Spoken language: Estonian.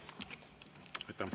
Aitäh!